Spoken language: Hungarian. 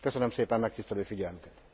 Köszönöm szépen megtisztelő figyelmüket!